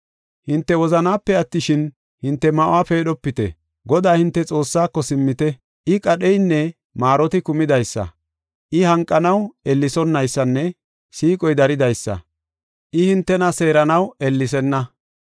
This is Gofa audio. Hinte wozanaape attishin, hinte ma7uwa peedhopite. Godaa, hinte Xoossaako, simmite; I, qadheynne maaroti kumidaysa; I, hanqanaw ellesonaysanne siiqoy daridaysa; I, hintena seeranaw ellesenna.